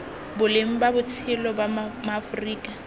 boleng ba botshelo ba maaforika